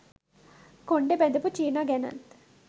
කොණ්ඩෙ බැඳපු චීනා ගැනත්